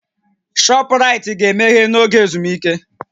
Shọpraịtị ga-emeghe n'oge ezumike